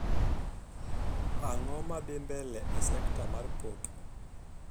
Ang'o madhi mbele e sekta mar pop